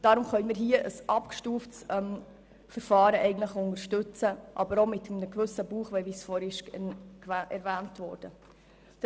Deshalb können wir ein abgestuftes Verfahren unterstützen, wenn auch mit gewissen Bauchschmerzen, wie dies vorhin erwähnt worden ist.